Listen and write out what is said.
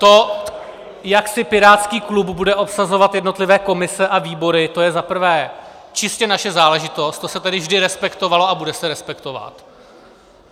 To, jak si pirátský klub bude obsazovat jednotlivé komise a výbory, to je za prvé čistě naše záležitost, to se tady vždy respektovalo a bude se respektovat.